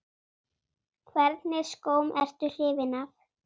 Hvernig skóm ertu hrifin af?